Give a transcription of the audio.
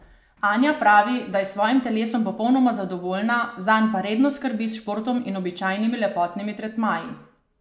Anja pravi, da je s svojim telesom popolnoma zadovoljna, zanj pa redno skrbi s športom in običajnimi lepotnimi tretmaji.